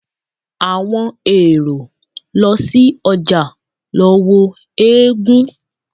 Àwọn èrò lọ sí ojà lọ wo eégún.